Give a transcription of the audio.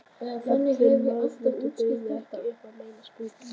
Jafnvel nauðþurftirnar buðu ekki upp á neina smugu.